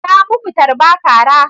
Ta muku tarba/kara.